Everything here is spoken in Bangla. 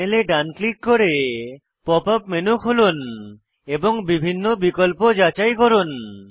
প্যানেলে ডান ক্লিক করে পপ আপ মেনু খুলুন এবং বিভিন্ন বিকল্প যাচাই করুন